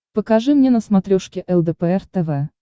покажи мне на смотрешке лдпр тв